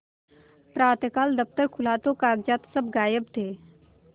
प्रातःकाल दफ्तर खुला तो कागजात सब गायब थे